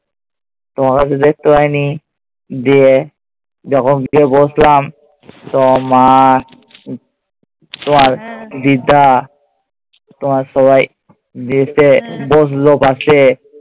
তোমাকে তো দেখতে পাইনি গিয়ে। যখন গিয়ে বসলাম, তোমার মা, তোমার দিদা, তোমার সবাই এসে বসল পাশে